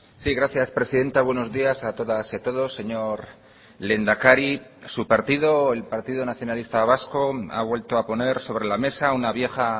sí gracias presidenta buenos días a todas y a todos señor lehendakari su partido el partido nacionalista vasco ha vuelto a poner sobre la mesa una vieja